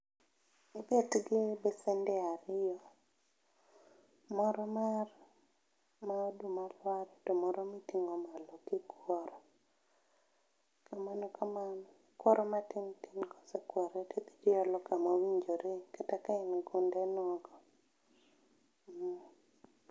Ibet gi besende ariyo, moro mar, ma oduma lware to moro miting'o malo kikworo kamano kamano, kworo matintin kosekwore tidhi tiolo kamowinjore kata ka en gunde nogo um